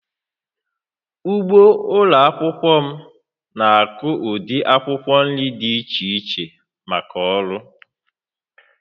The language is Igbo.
Ugbo ụlọ akwụkwọ m na-akụ ụdị akwụkwọ nri dị iche iche maka ọrụ